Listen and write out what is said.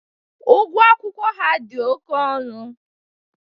Ugwọ akwụkwọ ha dị oke ọnụ.